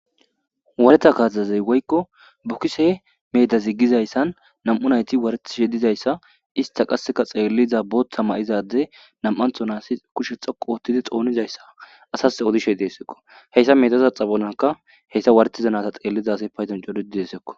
Wareta kasaz woykko bokise kasaz gizaysa medan 2 nayt waretishe dizaysa ista qasekka xeliza Botha mayza addey , nami'anthoz qase kushe xoqu othid xonizaysa asas yootishe Desko. Haysa medeza xophonka heysa wadhetiza naza xelishe diza as coratid desko.